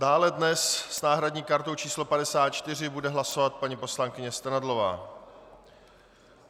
Dále dnes s náhradní kartou číslo 54 bude hlasovat paní poslankyně Strnadlová.